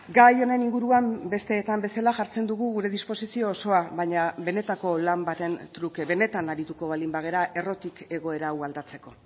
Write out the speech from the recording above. gai honen inguruan besteetan bezala jartzen dugu gure disposizio osoa baina benetako lan baten truke benetan arituko baldin bagara errotik egoera hau aldatzeko